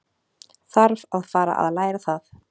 Þarf að fara að læra það.